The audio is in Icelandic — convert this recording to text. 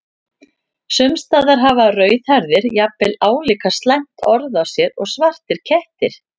Sums staðar hafa rauðhærðir jafnvel álíka slæmt orð á sér og svartir kettir.